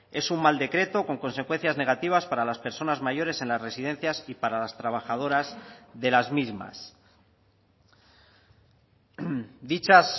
es un mal decreto con consecuencias negativas para las personas mayores en las residencias y para las trabajadoras de las mismas dichas